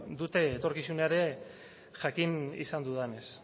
dute etorkizunean ere jakin izan dudanez